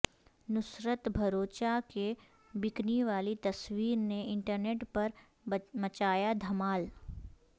نصرت بھروچا کی بکنی والی تصویرنے انٹرنیٹ پرمچایا دھمال